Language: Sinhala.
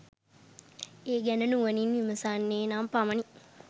ඒ ගැන නුවණින් විමසන්නේ නම් පමණි.